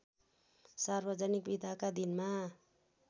सार्वजनिक बिदाका दिनमा